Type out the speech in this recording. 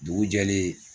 Dugu jɛlen